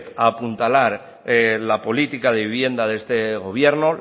a apuntalar la política de vivienda de este gobierno